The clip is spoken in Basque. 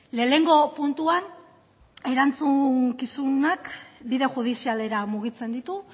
lehenengo puntuan erantzukizunak bide judizialera mugitzen ditu